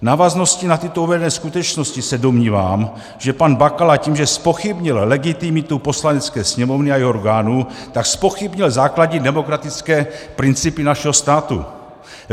V návaznosti na tyto uvedené skutečnosti se domnívám, že pan Bakala tím, že zpochybnil legitimitu Poslanecké sněmovny a jejích orgánů, tak zpochybnil základní demokratické principy našeho státu.